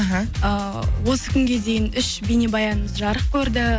іхі ыыы осы күнге дейін үш бейнебаянымыз жарық көрді